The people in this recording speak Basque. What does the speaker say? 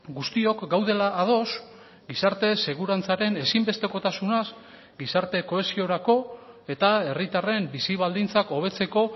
guztiok gaudela ados gizarte segurantzaren ezinbestekotasunaz gizarte kohesiorako eta herritarren bizi baldintzak hobetzeko